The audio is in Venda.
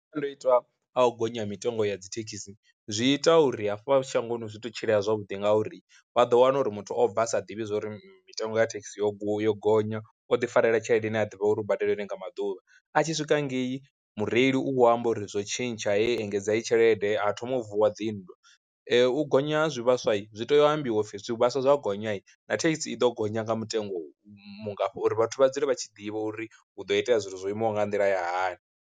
Masiandoitwa a u gonya mitengo ya dzithekisi zwi ita uri hafha shangoni zwi to tshila zwavhuḓi ngauri vha ḓo wana uri muthu o bva asa ḓivhi zwori mitengo ya thekhisi yo gony yo gonya o ḓi farela tshelede ine a ḓivha uri u badele ine nga maḓuvha, a tshi swika ngei mureili u amba uri zwo tshintsha heyii engedza heyi tshelede a thoma u vuwa dzi nndwa. U gonya ha zwivhaswa zwi tea u ambiwa upfi zwivhaswa zwo gonya na thekhisi i ḓo gonya nga mutengo u mungafha uri vhathu vha dzule vha tshi ḓivha uri hu do itea zwithu zwo imaho nga nḓila ya hani.